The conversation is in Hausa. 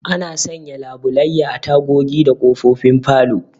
Ana sanya labulayya a tagogi da ƙofofin falo